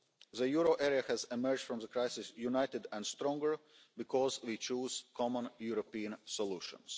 The euro area has emerged from the crisis united and stronger because we chose common European solutions.